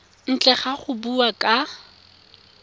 ntle ga go bua ka